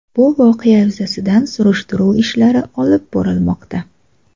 Bu voqea yuzasidan surishtiruv ishlari olib borilmoqda.